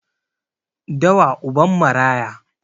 Dawa uban maraya